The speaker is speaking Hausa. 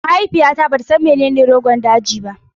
Mahaifiyata bata san menene Rogon daji ba